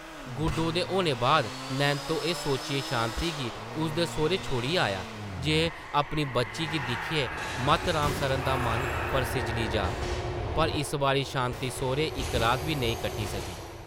गुड्डो दे होने बाद नैंत्तो एह् सोचियै शांति गी उसदे सौह्रै छोड़ी आया जे अपनी बच्ची गी दिक्खियै मत राम सरना दा मन परसिज्जली जाऽ पर इस बारी शांति सौह्रै इक रात बी नेईं कट्टी सकी ।